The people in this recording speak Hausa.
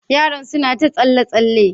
Yaron suna ta tsalle tsalle?